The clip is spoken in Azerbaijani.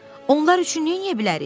Onlar üçün nə edə bilərik?